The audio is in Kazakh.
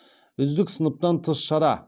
үздік сыныптан тыс шара